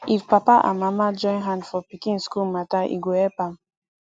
if papa and mama join hand for pikin school matter e go help am